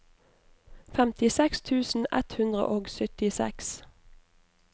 femtiseks tusen ett hundre og syttiseks